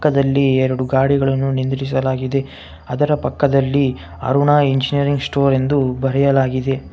ಪಕ್ಕದಲ್ಲಿ ಎರಡು ಗಾಡಿಗಳನ್ನು ನಿಂದ್ರಿಸಲಾಗಿದೆ ಅದರ ಪಕ್ಕದಲ್ಲಿ ಅರುಣ ಇಂಜಿನೆರಿಂಗ ಸ್ಟೊರ ಎಂದು ಬರೆಯಲಾಗಿದೆ .